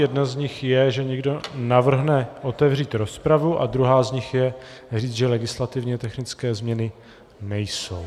Jedna z nich je, že někdo navrhne otevřít rozpravu, a druhá z nich je říct, že legislativně technické změny nejsou.